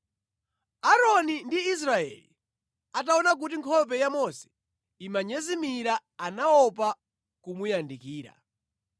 Aaroni ndi Aisraeli ataona kuti nkhope ya Mose imanyezimira anaopa kumuyandikira.